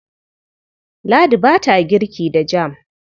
Ladi ba ta girki da jam.